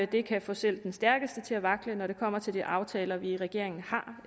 det kan få selv den stærkeste til at vakle når det kommer til de aftaler vi i regeringen har